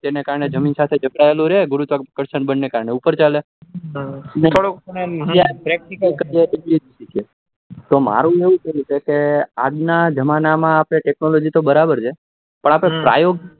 એના કરણે જમીન સાથે જકળાયેલું રે ગુરુત્વાકર્ષણ બળ ને કારણે ઉપર ચાલે અને થોડું આમ practical કરીએ મારું કેવું એ છે આજના જમાના technology માં તો બરોબર છે પણ આપડે પ્રાયોગિક